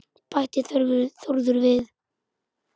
bætti Þórður við.